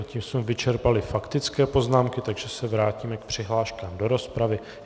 A tím jsme vyčerpali faktické poznámky, takže se vrátíme k přihláškám do rozpravy.